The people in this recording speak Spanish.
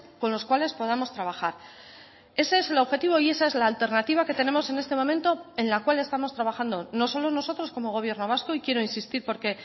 con los cuales podamos trabajar ese es el objetivo y esa es la alternativa que tenemos en este momento en la cual estamos trabajando no solo nosotros como gobierno vasco y quiero insistir porque